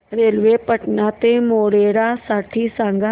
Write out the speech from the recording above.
railway Patan ते मोढेरा साठी सांगा